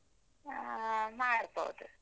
ಆ ಮಾಡ್ಬೋದು.